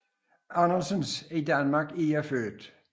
Andersens I Danmark er jeg født